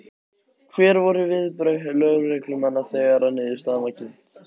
Hver voru viðbrögð lögreglumanna þegar að niðurstaðan var kynnt?